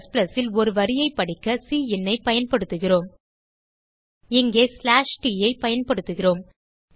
Cல் ஒரு வரியை படிக்க cinஐ பயன்படுத்துதுகிறோம் இங்கே ஸ்லாஷ் ட் ஐ பயன்படுத்துகிறோம்